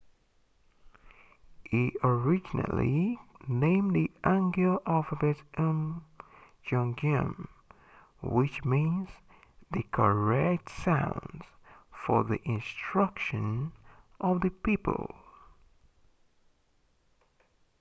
he originally named the hangeul alphabet hunmin jeongeum which means the correct sounds for the instruction of the people